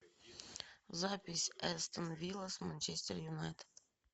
запись астон вилла с манчестер юнайтед